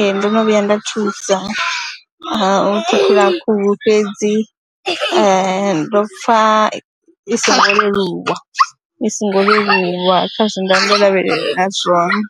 Ee, ndo no vhuya nda thusa u ṱhukhula khuhu fhedzi ndo pfha i songo leluwa i songo leluwa kha zwe nda vha ndo lavhelela zwone